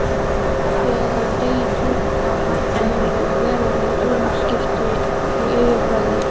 Þegar degi tók að halla urðu veruleg umskipti á yfirbragði